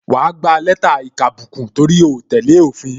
Wa gba lẹ́tà ìkàbùkù, torí o tẹ́lẹ̀ òfin